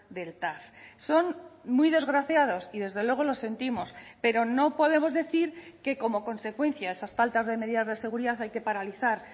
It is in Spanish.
del tav son muy desgraciados y desde luego lo sentimos pero no podemos decir que como consecuencia a esas faltas de medidas de seguridad hay que paralizar